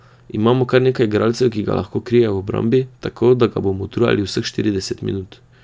Imamo kar nekaj igralcev, ki ga lahko krijejo v obrambi, tako da ga bomo utrujali vseh štirideset minut.